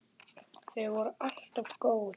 Þau voru alltaf góð.